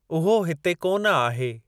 उहो हिते कोन आहे।